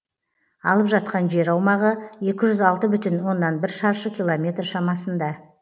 алып жатқан жер аумағы екі жүз алты бүтін оннан бір шаршы километр шамасында